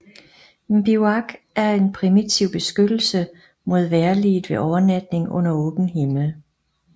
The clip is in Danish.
En bivuak er en primitiv beskyttelse mod vejrliget ved overnatning under åben himmel